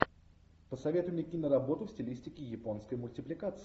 посоветуй мне киноработу в стилистике японской мультипликации